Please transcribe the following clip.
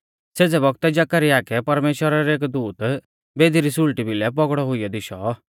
सेज़ै बौगतै जकरयाह कै परमेश्‍वरा रौ एक दूत बेदी री सुल़टी भिलै पौगड़ौ हुइयौ दिशौ